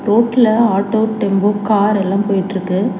ரோட்ல auto tempo car எல்லா போயிட்ருக்கு.